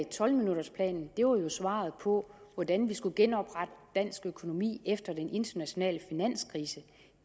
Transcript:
tolv minutters planen jo var svaret på hvordan vi skulle genoprette dansk økonomi efter den internationale finanskrise